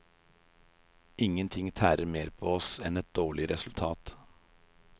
Ingen ting tærer mer på oss enn et dårlig resultat.